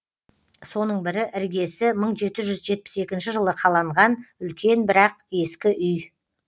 соның бірі іргесі мың жеті жүз жетпіс екінші жылы қаланған үлкен бірақ ескі үй